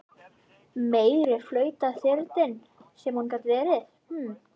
Meiri flautaþyrillinn sem hún gat verið!